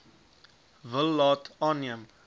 wil laat aanneem